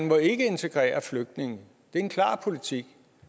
må integrere flygtninge det er en klar politik